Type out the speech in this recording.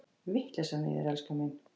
Vitleysan í þér, elskan mín!